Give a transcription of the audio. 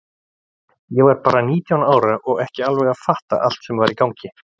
Ég var bara nítján ára og ekki alveg að fatta allt sem var í gangi.